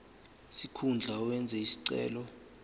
sikhundla owenze isicelo